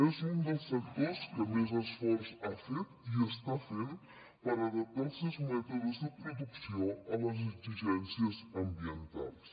és un dels sectors que més esforç ha fet i està fent per adaptar els seus mètodes de producció a les exigències ambientals